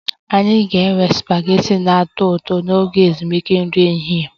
Anyị ga-enwe supagetii na-atọ ụtọ n'oge ezumike nri ehihie